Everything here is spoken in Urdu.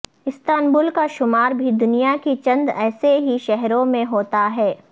استنبول کا شمار بھی دنیا کے چند ایسے ہی شہروں میں ہوتا ہے